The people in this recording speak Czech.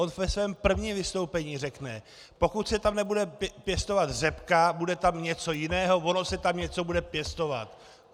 On ve svém prvním vystoupení řekne: "Pokud se tam nebude pěstovat řepka, bude tam něco jiného, ono se tam něco bude pěstovat."